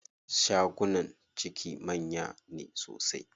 Shagunan ciki manya ne sosai.